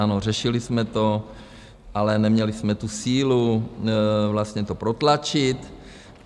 Ano, řešili jsme to, ale neměli jsme tu sílu vlastně to protlačit.